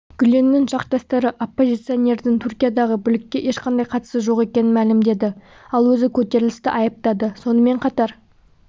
гүленнің жақтастары оппозиционердің түркиядағы бүлікке ешқандай қатысы жоқ екенін мәлімдеді ал өзі көтерілісті айыптады сонымен қатар